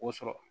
O sɔrɔ